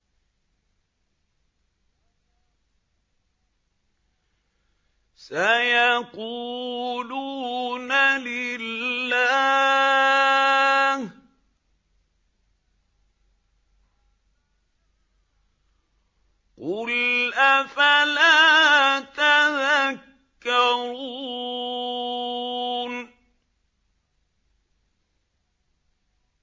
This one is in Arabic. سَيَقُولُونَ لِلَّهِ ۚ قُلْ أَفَلَا تَذَكَّرُونَ